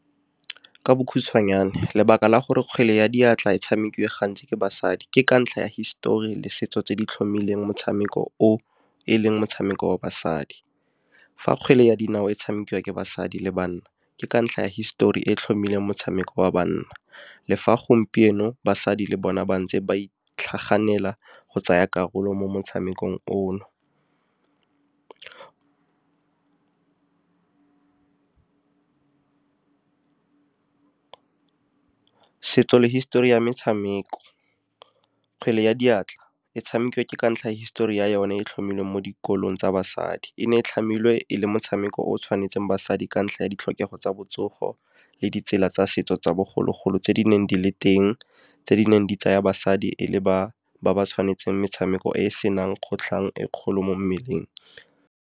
Ka bokhutshwanyane lebaka la gore kgwele ya diatla e tshamekiwe gantsi ke basadi, ke ka ntlha ya histori le setso tse di tlhomilweng motshameko o, e leng motshameko wa basadi. Fa kgwele ya dinao e tshamekiwa ke basadi le banna, ke ka ntlha ya histori e tlhomilweng motshameko wa banna, le fa gompieno basadi le bona bantse ba itlhaganela go tsaya karolo mo motshamekong ono. Setso le hisetori ya metshameko, kgwele ya diatla, e tshamikiwa ke ka ntlha hisetori ya yone e tlhomilweng mo dikolong tsa basadi e ne e tlhamilwe e le motshameko o tshwanetseng basadi ka ntlha ya ditlhokego tsa botsogo, le ditsela tsa setso tsa bogologolo tse di neng di le teng tse di neng di tsaya basadi e le ba, ba ba tshwanetseng metshameko e senang kgotlhang e kgolo mo mmeleng.